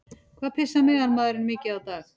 Hvað pissar meðalmaðurinn mikið á dag?